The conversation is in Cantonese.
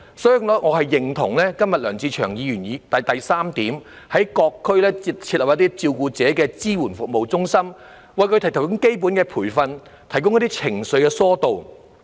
所以，我認同梁志祥議員的議案第三部分：在各區設立照顧者支援服務中心，為照顧者提供適切培訓及疏導情緒等服務。